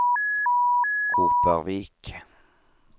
Kopervik